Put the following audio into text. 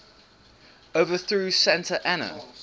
overthrew santa anna